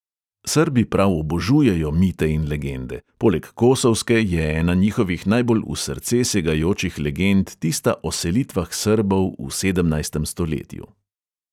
Srbi prav obožujejo mite in legende, poleg kosovske je ena njihovih najbolj v srce segajočih legend tista o selitvah srbov v sedemnajstem stoletju.